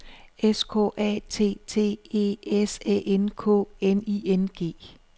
S K A T T E S Æ N K N I N G